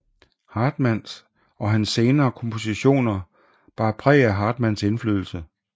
Hartmann og hans senere kompositioner bar præg af Hartmanns indflydelse